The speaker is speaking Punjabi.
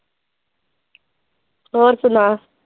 ਹੋਰ ਸੁਣਾ?